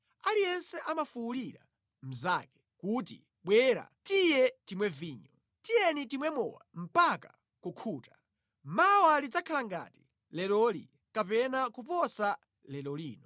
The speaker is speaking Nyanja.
Aliyense amafuwulira mnzake kuti, “Bwera, tiye timwe vinyo! Tiyeni timwe mowa mpaka kukhuta! Mawa lidzakhala ngati leroli, kapena kuposa lero lino.”